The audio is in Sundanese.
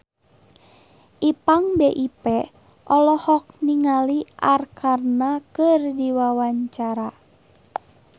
Ipank BIP olohok ningali Arkarna keur diwawancara